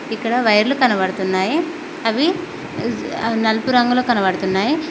ఇక్కడ వైర్లు కనబడుతున్నాయి అవి అజ్ అ నల్పు రంగులో కనబడుతున్నాయ్.